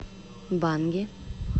банги